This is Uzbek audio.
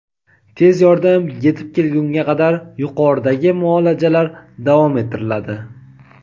Tez yordam yetib kelgunga qadar yuqoridagi muolajalar davom ettiriladi.